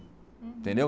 Entendeu?